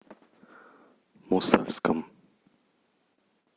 мосальском